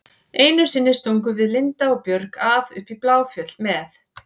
Einu sinni stungum við Linda og Björg af upp í Bláfjöll með